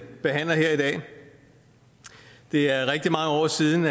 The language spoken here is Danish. behandler her i dag det er rigtig mange år siden